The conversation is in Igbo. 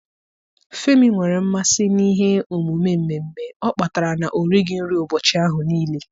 Femi nwere mmasị n'ihe omume mmemme ọ kpatara na-orighị nri ụbọchị ahụ niile.